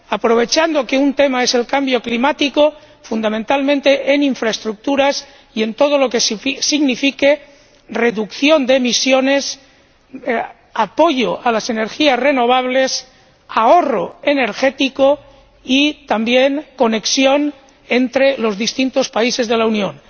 Aprovechando que un tema es el cambio climático, fundamentalmente en infraestructuras y en todo lo que signifique reducción de emisiones, apoyo a las energías renovables, ahorro energético y también conexión entre los distintos países de la Unión.